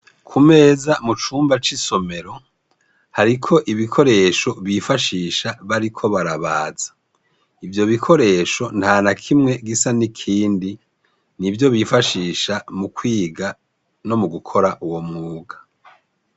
Ku meza mucumba c'isomero hariko ibikoresho bifashisha bariko barabaza, ivyo bikoresho ntanakimwe gisa n'ikindi n'ivyo bifashisha mu kw'iga nogukora uyomwuga.